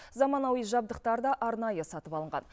заманауи жабдықтар да арнайы сатып алынған